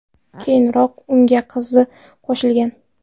Keyinroq unga qizi qo‘shilgan.